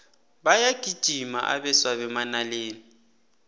bayagijima abeswa bemanaleni